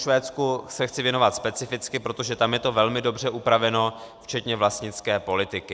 Švédsku se chci věnovat specificky, protože tam je to velmi dobře upraveno včetně vlastnické politiky.